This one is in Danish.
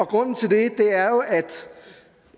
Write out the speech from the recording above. grunden til det